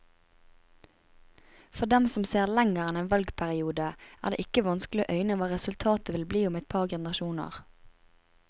For dem som ser lenger enn en valgperiode, er det ikke vanskelig å øyne hva resultatet vil bli om et par generasjoner.